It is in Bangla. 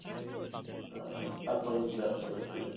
আহ তার পরে দিন back করে চলে এসেছি।